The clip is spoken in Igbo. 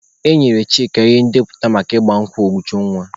E nyere Chika ihe ndepụta maka ịgba nkwụ Ujunwa.